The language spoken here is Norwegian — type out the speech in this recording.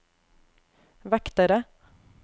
vektere